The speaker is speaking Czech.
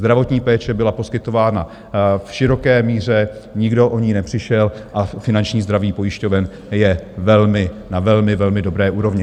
Zdravotní péče byla poskytována v široké míře, nikdo o ni nepřišel a finanční zdraví pojišťoven je na velmi, velmi dobré úrovni.